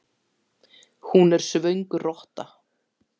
Hún er svöng rotta.